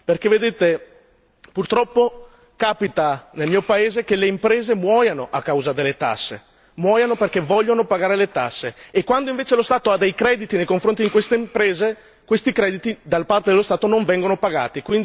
Perché vedete, purtroppo capita nel mio paese che le imprese muoiono a causa delle tasse, muoiono perché vogliono pagare le tasse e quando invece lo Stato ha dei crediti nei confronti di queste imprese, questi crediti da parte dello Stato non vengono pagati.